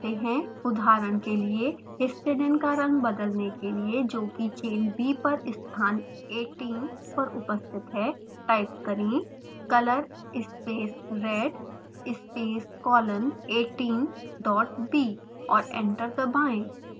उदहारण के लिए histidine का रंग बदलने के लिए जो की chain b पर स्थान 18 पर उपस्थित है टाइप करें: